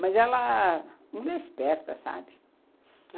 Mas ela... Mulher esperta, sabe?